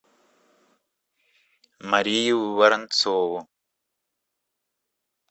марию воронцову